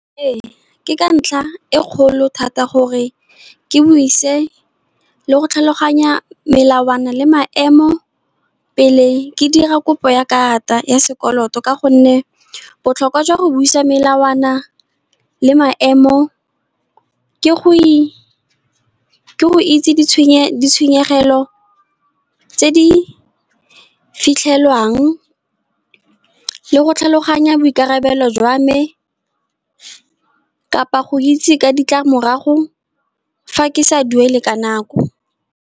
Ee, ke ka ntlha e kgolo thata gore ke buise le go tlhaloganya melawana le maemo, pele ke dira kopo ya karata ya sekoloto. Ka gonne botlhokwa jwa go buisa melawana le maemo, ke go itse ditshenyegelo tse di fitlhelwang le go tlhaloganya boikarabelo jwa me kapa, go itse ka ditlamorago fa ke sa duele ka nako.